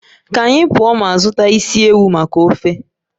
Ka anyị pụọ ma zụta isi ewu maka ofe